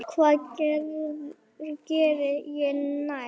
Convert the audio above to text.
Hvað geri ég næst?